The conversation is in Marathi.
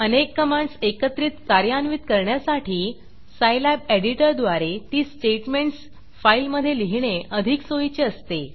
अनेक कमांडस एकत्रित कार्यान्वित करण्यासाठी सायलॅब एडिटरद्वारे ती स्टेटमेंटस फाईलमधे लिहिणे अधिक सोयीचे असते